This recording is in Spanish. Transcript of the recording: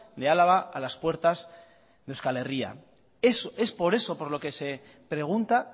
de álava a las puertas de euskal herria es por eso por lo que se pregunta